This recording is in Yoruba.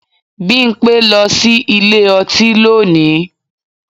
Bímpé lọ sí ilé ọtí lónìí